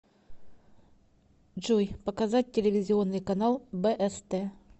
джой показать телевизионный канал бст